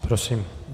Prosím.